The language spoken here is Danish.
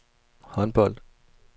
håndbold